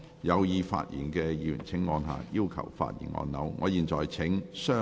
有意發言的議員請按下"要求發言"按鈕。